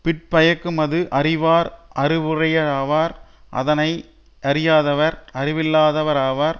பிற்பயக்குமது அறிவார் அறிவுடையாராவார் அதனை யறியாதவர் அறிவில்லாதவராவர்